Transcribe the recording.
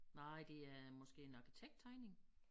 Nej det er måske en arkitekttegning